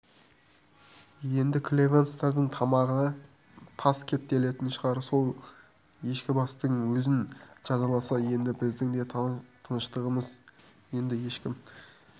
енді клевенцовтардың тамағына тас кептелетін шығар сол ешкібастың өзін жазаласа еді біздің де тыныштығымызды енді ешкім